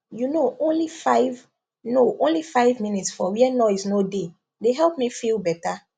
you know only five know only five minutes for where noise no dey dey help me feel better